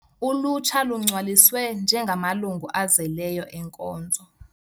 Ulutsha lungcwaliswe njengamalungu azeleyo enkonzo.